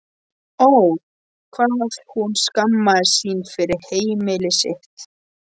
Ó, hvað hún skammaðist sín fyrir heimili sitt.